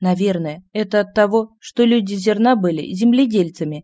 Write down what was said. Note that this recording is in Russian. наверное это от того что люди зерна были земледельцами